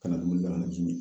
Ka na dumuni bila ka na ji mi